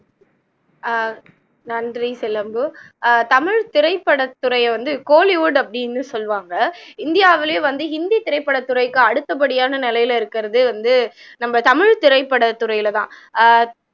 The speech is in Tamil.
ஆஹ் நன்றி சிலம்பு ஆஹ் தமிழ் திரைப்படத்துறையை வந்து kollywood அப்படின்னு சொல்லுவாங்க இந்தியாவுலயும் வந்து ஹிந்தி திரைப்படத்துறைக்கு அடுத்தப்படியான நிலையில இருக்குறது வந்து நம்ம தமிழ் திரைப்படத்துறையில தான் ஆஹ்